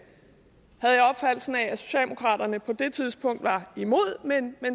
socialdemokraterne på det tidspunkt var imod men